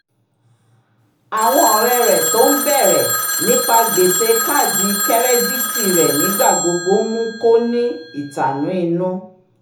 àwọn ọ̀rẹ́ rẹ̀ tó ń bẹ̀rẹ̀ nípa gbèsè kaadi kẹ́rẹ́díìtì rẹ̀ nígbà gbogbo mú kó ní ìtànú inú